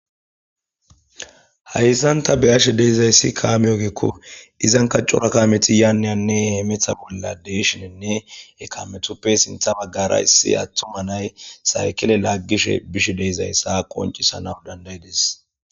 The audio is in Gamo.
hayssanta beyashe deezayssi kaame ogeekko izan kaccora kaameti yaanniyanne hemetha bolla deyshinenne ekametuppe sintha baggara issi attuma nay saykile laaggishe bish deezayssa qoncisana dandayidis